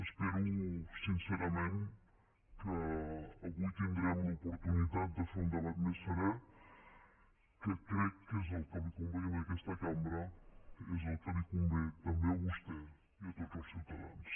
espero sincerament que avui tindrem l’oportunitat de fer un debat més serè que crec que és el que li convé a aquesta cambra és el que li convé també a vostè i a tots els ciutadans